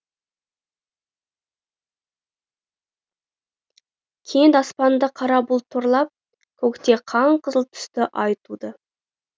кенет аспанды қара бұлт торлап көкте қан қызыл түсті ай туды